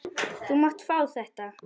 Þú mátt fá þetta.